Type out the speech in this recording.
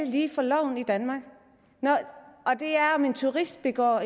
lige for loven i danmark om en turist begår